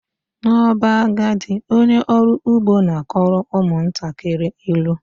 N'ọba, agadi onye ọrụ ugbo na-akọrọ ụmụntakịrị ilu